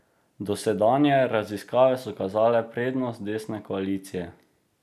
Dosedanje raziskave so kazale prednost desne koalicije.